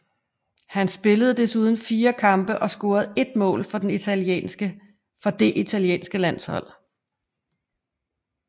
Han spillede desuden fire kampe og scorede ét mål for det italienske landshold